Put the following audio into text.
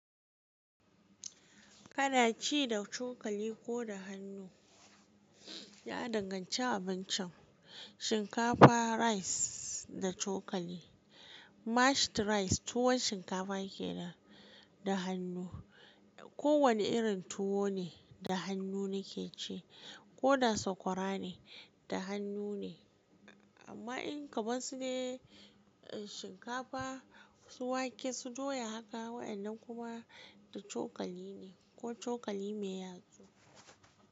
Kana ci da cokali ko da hannu. Ya danganci abincin shinkafa rice da cokali. Mashed rice tuwon shinkafa kenan da hannu. Ko wani irin tuwo ne da hannu nike ci ko da sakwara ne da hannu ne. Amma in kamansu de shinkafa su wake su doya haka waɗannan kuma da cokali ne ko cokali me yatsu.